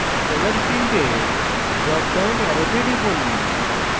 color ফীল্ডের drop down অ্যারোতে টিপুন